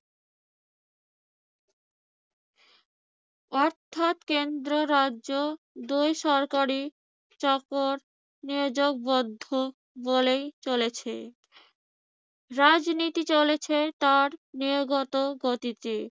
অর্থাৎ কেন্দ্র রাজ্য দুই সরকারি চাকর নিয়োগ বদ্ধ বলেই চলেছে। রাজনীতি চলেছে তার নিয়োগত গতিতে।